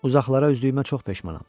Uzaqlara üzdüyümə çox peşmanam.